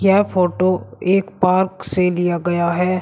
यह फोटो एक पार्क से लिया गया है।